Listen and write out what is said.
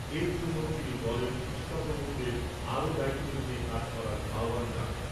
এর জন্য তিনি দলের পৃষ্ঠা প্রমুখদের আরো দায়িত্ব নিয়ে কাজ করার আহ্বান জানান।